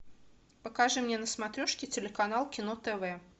покажи мне на смотрешке телеканал кино тв